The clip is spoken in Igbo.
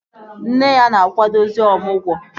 Nne ya na-akwadozi ọmụgwọ